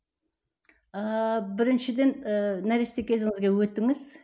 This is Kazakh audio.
ыыы біріншіден ііі нәресте кезіңізге өтіңіз